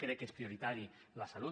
crec que és prioritari la salut